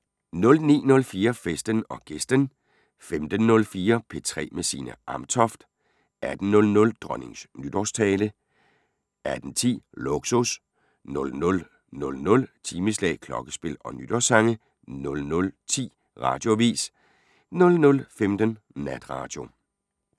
09:04: Festen & Gæsten 15:04: P3 med Signe Amtoft 18:00: Dronningens nytårstale 18:10: Lågsus 00:00: Timeslag, klokkespil og nytårssange 00:10: Radioavis 00:15: Natradio